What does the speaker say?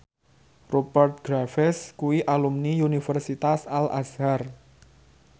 Rupert Graves kuwi alumni Universitas Al Azhar